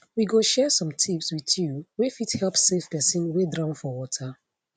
we go share some tips wit you wey fit help save pesin wey drown for water